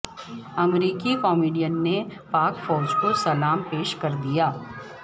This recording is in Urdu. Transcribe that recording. امریکی کامیڈین نے پاک فوج کو سلام پیش کردیا